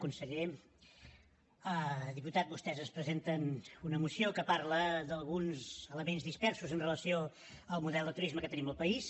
conseller diputat vostès ens presenten una moció que parla d’alguns elements dispersos amb relació al model de turisme que tenim al país